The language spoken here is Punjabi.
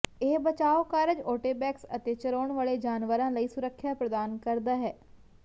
ਇਹ ਬਚਾਓ ਕਾਰਜ ਓਟੇਬੈਕਸ ਅਤੇ ਚਰਾਉਣ ਵਾਲੇ ਜਾਨਵਰਾਂ ਲਈ ਸੁਰੱਖਿਆ ਪ੍ਰਦਾਨ ਕਰਦਾ ਹੈ